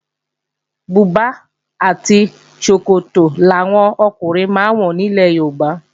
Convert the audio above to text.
Bùbá àti ṣòkòtò làwọn ọkùnrin máa ń wọ nílẹ̀ Yorùbá